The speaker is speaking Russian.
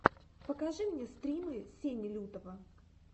покажи мне стримы сени лютого